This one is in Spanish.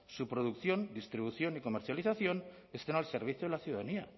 su producción distribución y comercialización estén al servicio de la ciudadanía